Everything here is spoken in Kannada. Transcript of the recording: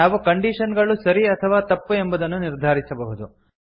ನಾವು ಕಂಡೀಶನ್ ಗಳು ಸರಿ ಅಥವಾ ತಪ್ಪು ಎಂಬುದನ್ನು ನಿರ್ಧಾರಿಸಬಹುದು